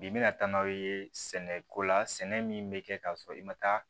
Bi mina taa n'a ye sɛnɛko la sɛnɛ min bɛ kɛ ka sɔrɔ i ma taa